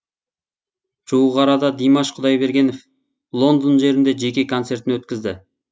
жуық арада димаш құдайбергенов лондон жерінде жеке концертін өткізді